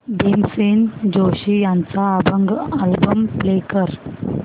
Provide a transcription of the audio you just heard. भीमसेन जोशी यांचा अभंग album play कर